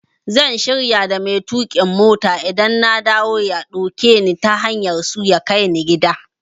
Zan shirya da mai tuƙin mota idan na dawo ya dauke ni ta hanyar su ya kai ni gida.